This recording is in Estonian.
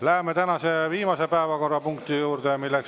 Läheme tänase viimase, 15. päevakorrapunkti juurde.